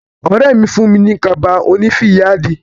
Ọ̀rẹ́ mi fún mi ní kaba oní fìyáàdì.